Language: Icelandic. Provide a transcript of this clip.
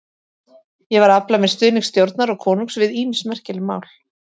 Ég var að afla mér stuðnings stjórnar og konungs við ýmis merkileg mál.